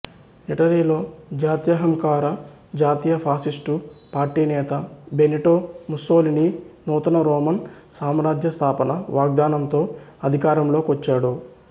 ఇటలీలో జాత్యహంకార జాతీయ ఫాసిస్టు పార్టీ నేత బెనిటో ముస్సోలినీ నూతన రోమన్ సామ్రాజ్య స్థాపన వాగ్ధానంతో అధికారంలోకొచ్చాడు